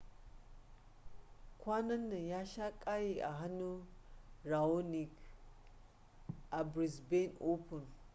kwanan nan ya sha kayi a hannun raonic a brisbane open